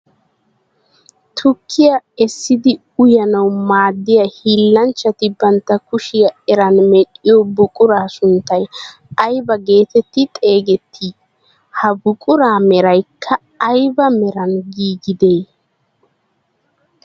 Tukkiyaa essidi uyanawu maaddiyaa hillanchchati bantta kushiyaa eran medhiyoo buquraa sunttay aybaa getetti xeegettii? Ha buquraa meraykka ayba meran giigidee?